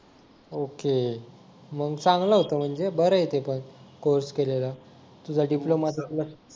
okay मग चांगले होता म्हणजे बरं आहे ते पण कोर्स केलेला तुझा डिप्लोमा सुटला